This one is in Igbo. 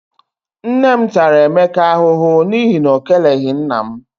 Nne m tara Emeka ahụhụ n'ihi na ọ keleghi nna m.